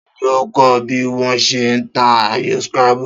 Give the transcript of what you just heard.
Ta ni ó kó̩ o̩ bí wó̩ s̩e ń ta ayò scrabble?